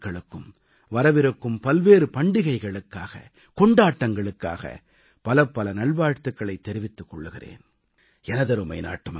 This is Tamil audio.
நான் அனைத்து நாட்டுமக்களுக்கும் வரவிருக்கும் பல்வேறு பண்டிகைகளுக்காக கொண்டாட்டங்களுக்காக பலப்பல நல்வாழ்த்துக்களைத் தெரிவித்துக் கொள்கிறேன்